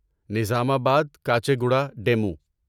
Nizamabad Kacheguda demo